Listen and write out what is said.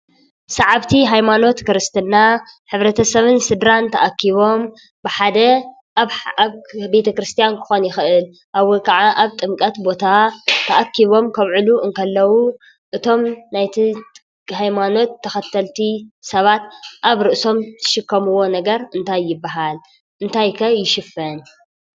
ሰዓብቲ ሃይማኖት ክርስትና ሕብረተሰብን ስድራን ተአኪቦም ብሓደ አብ ቤተክርስቲያን ክኸውን ይክእል ወይ ከዓ አብ ጥምቀት ቦታ ተአኪቦም ከውዕሉ እንከለው እቶም ናይቲ ሃይማኖት ተከተልቲ ሰባት አብ ርእሶም ዝሽከምዎ ነገር እንታይ ይበሃል ?እንታይ ከ ይሽፈን?